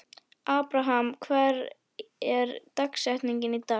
Abraham, hver er dagsetningin í dag?